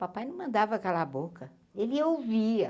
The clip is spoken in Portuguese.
Papai não mandava aquela boca, ele ouvia.